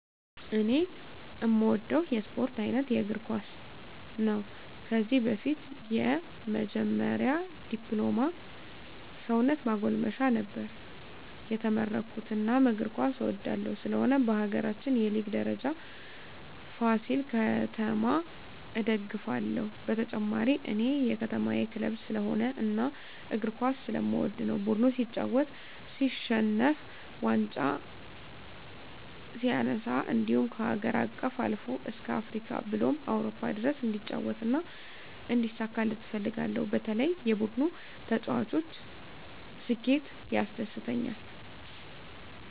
እኔ እምወደው የስፓርት አይነት እግርኳስ ነው ከዚህ በፊት የመጀመሪ ድፕሎማ ሰውነት ማጎልመሻ ነበር የተመረኩት እናም እግር ኳስ እወዳለሁ ስለሆነም በሀገራችን የሊግ ደረጃ ፍሲል ከተማ እደግፍለ ሁ በተጨማሪ እኔ የከተማየ ክለብ ስለሆነ እና እግር ኳስ ስለምወድ ነው ቡድኑ ሲጫወት ሲሸንፍ ዋንጫ ሲነሳ እንድሁም ከሀገር አቀፍ አልፎ እስከ አፍሪካ ብሎም አውሮፓ ድረስ እንዲጫወት እና እንዲሳካለት እፈልጋለሁ በተለይ የቡድኑ ተጫዋች ስኬት ያስደስተኛል።